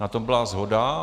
Na tom byla shoda.